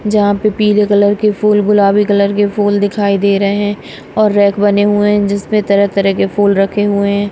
जहां पे पीले कलर के फूल गुलाबी कलर के फूल दिखाई दे रहे हैं और रैक बने हुए हैं जिसमें तरह-तरह के फूल रखे हुए हैं।